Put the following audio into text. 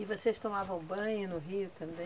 E vocês tomavam banho no rio também?